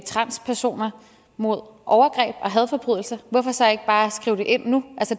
transpersoner mod overgreb og hadforbrydelser hvorfor så ikke bare skrive det ind nu